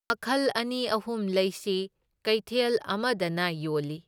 ꯃꯈꯜ ꯑꯅꯤ ꯑꯍꯨꯝ ꯂꯩꯁꯤ, ꯀꯩꯊꯦꯜ ꯑꯃꯗꯅ ꯌꯣꯜꯂꯤ꯫